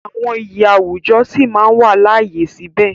Àwọn iyì àwùjọ sí máa wà láàyè síbẹ̀.